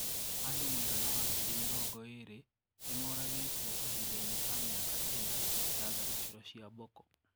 Andũ mũigana wa ngĩrĩ mirongo ĩrĩ nimaũragĩtwo kahinda ini ka miaka ena ya tharĩkĩro cĩa Boko.